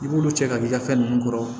I b'olu cɛ ka k'i ka fɛn ninnu kɔrɔ